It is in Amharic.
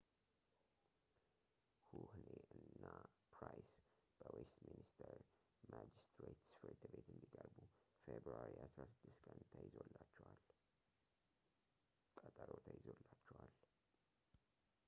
ሁህኔ እና ፕራይስ በዌስትሚኒስተር ማጅስትሬትስ ፍርድ ቤት እንዲቀርቡ ፌብርዋሪ 16 ቀን ቀጠሮ ተይዞላቸዋል